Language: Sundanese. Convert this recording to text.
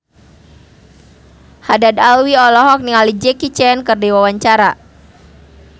Haddad Alwi olohok ningali Jackie Chan keur diwawancara